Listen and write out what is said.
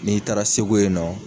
N'i taara Segu yen nɔ.